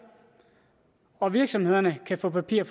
og virksomhederne kan få papir